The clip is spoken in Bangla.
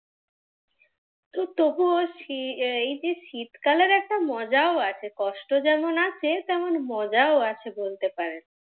তো তবুও এই যে শীতকালের একটা মজাও আছে, কষ্ট যেমন আছে তেমন মজাও আছে বলতে পারেন।